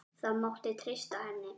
Það mátti treysta henni.